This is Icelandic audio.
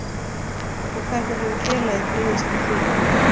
Og hvernig hefur félagið brugðist við því?